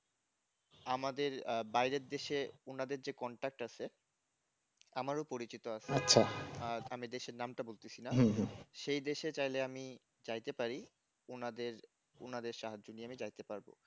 আমাদের বাইরের দেশে উনাদের যে contact আছে, আমারও পরিচিত আছে আর আমি দেশের নামটা বলতেছি না সেই দেশে চাইলে আমি চাইতে পারি ওনাদের ওনাদের সাহায্য নিয়ে আমি যাইতে পারবো